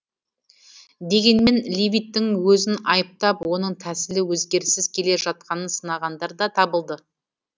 дегенмен левиттің өзін айыптап оның тәсілі өзгеріссіз келе жатқанын сынағандар да табылды